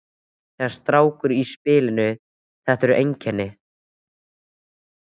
Það er strákur í spilinu. þetta eru einkennin!